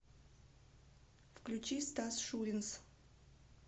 включи стас шуринс